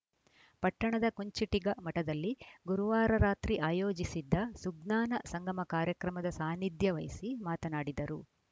ಪಟ್ಟಣದ ಕುಂಚಿಟಿಗ ಮಠದಲ್ಲಿ ಗುರುವಾರ ರಾತ್ರಿ ಆಯೋಜಿಸಿದ್ದ ಸುಜ್ಞಾನ ಸಂಗಮ ಕಾರ್ಯಕ್ರಮದ ಸಾನಿಧ್ಯ ವಹಿಸಿ ಮಾತನಾಡಿದರು